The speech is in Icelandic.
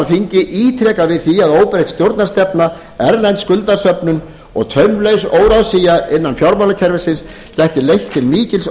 þingið ítrekað við því að óbreytt stjórnarstefna erlend skuldasöfnun og taumlaus óráðsía innan fjármálakerfisins gæti leitt til